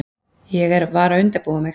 Ég var að undirbúa mig.